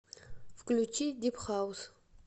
включи дип хаус